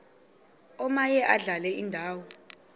omaye adlale indawo